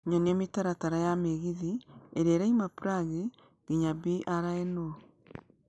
nyonia mĩtaratara ya mĩgithi ĩria ĩrauma Prague nginya brno